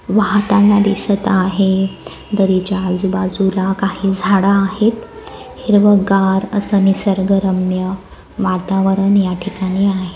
वाहताना दिसत आहे दरीच्या आजूबाजूला काही झाडं आहेत हिरवगार असं निसर्ग रम्य वातावरण या ठिकाणी आहे.